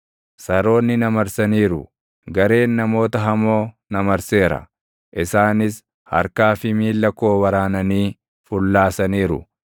Saroonni na marsaniiru; gareen namoota hamoo na marseera; isaanis harkaa fi miilla koo waraananii fullaasaniiru.